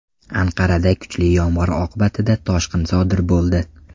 Anqarada kuchli yomg‘ir oqibatida toshqin sodir bo‘ldi.